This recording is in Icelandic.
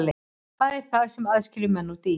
Hvað er það sem aðskilur menn og dýr?